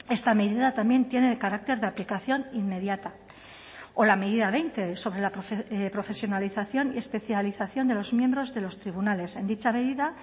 esta medida también tiene carácter de aplicación inmediata o la medida veinte sobre la profesionalización y especialización de los miembros de los tribunales en dicha medida